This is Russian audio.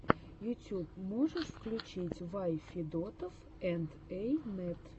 ютьюб можешь включить вай федотов энд эй нэт